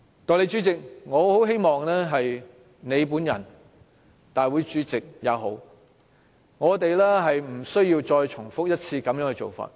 代理主席，我很希望你或大會主席不要再重複這種做法。